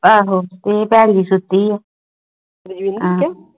ਆ ਹੂ ਤੇ ਬੇਹਂ ਸੁੱਤੀ ਹੈ